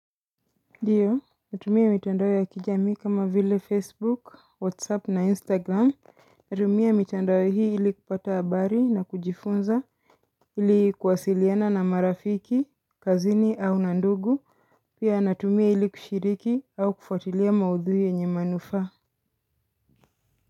Ndiyo, natumia mitandao ya kijamii kama vile Facebook, Whatsapp na Instagram, natumia mitandao hii ilikupata habari na kujifunza, ilikuwasiliana na marafiki, kazini au na ndugu, pia natumia ilikushiriki au kufatilia maudhui yenye manufaa.